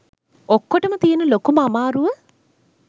ඔක්කෝටම තියෙන ලොකුම අමාරුව